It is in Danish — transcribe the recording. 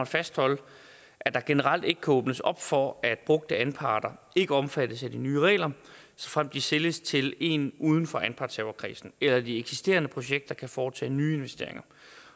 fastholde at der generelt ikke kan åbnes op for at brugte anparter ikke omfattes af de nye regler såfremt de sælges til en uden for anpartshaverkredsen eller at de eksisterende projekter kan foretage nye investeringer